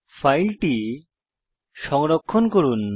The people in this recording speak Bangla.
ফাইলটি সংরক্ষণ করুন